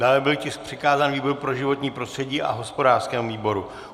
Dále byl tisk přikázán výboru pro životní prostředí a hospodářskému výboru.